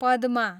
पदमा